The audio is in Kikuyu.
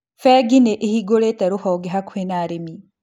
Bengi nĩĩhingũrĩte rũhonge hakuhĩ na arĩmi